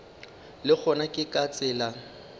le gona ke ka tsela